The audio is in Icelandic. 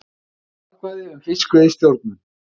Þjóðaratkvæði um fiskveiðistjórnun